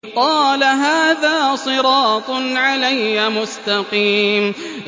قَالَ هَٰذَا صِرَاطٌ عَلَيَّ مُسْتَقِيمٌ